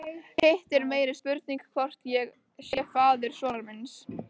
Hitt er meiri spurning hvort ég sé faðir sonar míns.